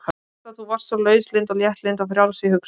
Alda þú varst svo lauslynd og léttlynd og frjáls í hugsun.